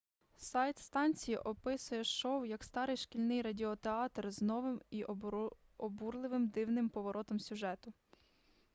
сайт станції описує шоу як старий шкільний радіотеатр з новим і обурливим дивним поворотом сюжету